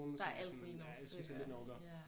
Der er altid lige nogle stykker ja